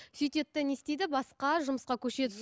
сөйтеді де не істейді басқа жұмысқа көшеді